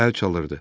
Əl çalırdı.